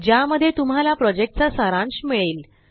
ज्यामध्ये तुम्हाला प्रॉजेक्टचा सारांश मिळेल